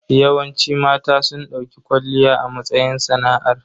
Yawanci mata sun dauki kwalliya a matsayin sana'ar.